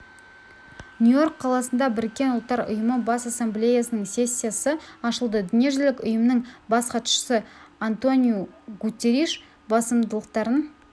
нью-йорк қаласында біріккен ұлттар ұйымы бас ассамблеясының сессиясы ашылды дүниежүзілік ұйымның бас хатшысы антониу гуттериш басымдықтарын